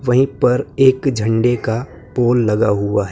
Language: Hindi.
वहीं पर एक झंडे का पोल लगा हुआ है।